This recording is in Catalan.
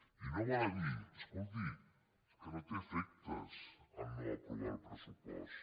i no val a dir escolti que no té efectes no aprovar el pressupost